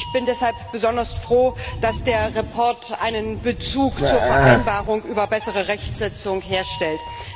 Ich bin deshalb besonders froh, dass der Bericht einen Bezug zur Vereinbarung über bessere Rechtsetzung herstellt.